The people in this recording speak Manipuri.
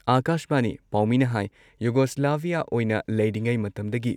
ꯑꯥꯀꯥꯁꯕꯥꯅꯤ ꯄꯥꯥꯎꯃꯤꯅ ꯍꯥꯏ ꯌꯨꯒꯣꯁ꯭ꯂꯥꯚꯤꯌꯥ ꯑꯣꯏꯅ ꯂꯩꯔꯤꯉꯩ ꯃꯇꯝꯗꯒꯤ